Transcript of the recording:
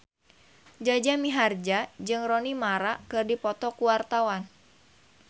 Jaja Mihardja jeung Rooney Mara keur dipoto ku wartawan